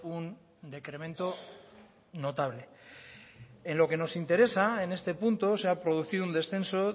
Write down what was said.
un decremento notable en lo que nos interesa en este punto se ha producido un descenso